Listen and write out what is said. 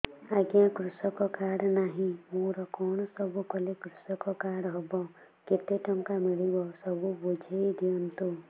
ଆଜ୍ଞା କୃଷକ କାର୍ଡ ନାହିଁ ମୋର କଣ ସବୁ କଲେ କୃଷକ କାର୍ଡ ହବ କେତେ ଟଙ୍କା ମିଳିବ ସବୁ ବୁଝାଇଦିଅନ୍ତୁ